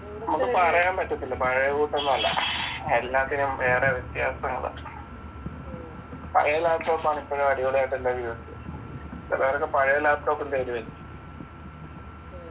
നമുക്ക് പറയാൻ പറ്റത്തില്ല പഴയകൂട്ടൊന്നും അല്ല എല്ലാത്തിനും ഏറെ വ്യത്യാസങ്ങളാ പഴയ laptop ആണ് ഇപ്പൊഴും അടിപൊളിയായിട്ടെന്റെ ചേലൊരൊക്കെ പഴയ laptop ഉം തേടി വരും